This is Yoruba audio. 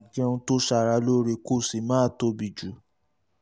máa jẹun tó ṣara lóore kó o sì má tóbi jù